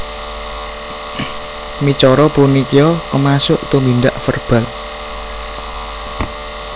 Micara punikia kamasuk tumindak verbal